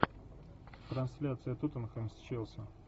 трансляция тоттенхэм с челси